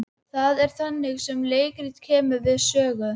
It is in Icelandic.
Það er þannig sem leikritið kemur við sögu.